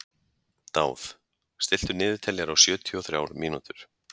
Dáð, stilltu niðurteljara á sjötíu og þrjár mínútur.